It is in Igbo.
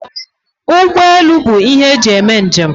Ụgbọelu bụ ihe eji eme njem